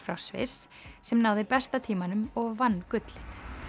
frá Sviss sem náði besta tímanum og vann gullið